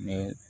Ne